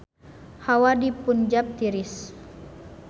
Hawa di Punjab tiris